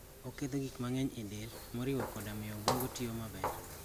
Oketho gik mang'eny e del, moriwo koda miyo obwongo tiyo maber.